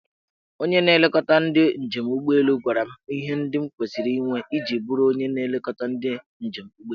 Onye na-elekọta ndị njem ụgbọelu gwara m ihe ndị m kwesiri inwe iji bụrụ onye na-elekọta ndị njem ụgbọelu.